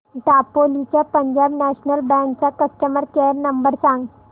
दापोली च्या Punjab National Bank चा customer care number सांग